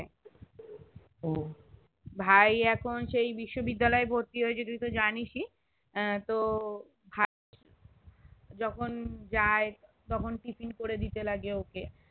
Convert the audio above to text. ও ভাই এখন সেই বিশ্ববিদ্যালয় ভর্তি হয়েছে তুই জানিস ই আহ তো যখন যায় তখন tiffin করেদিতে লাগে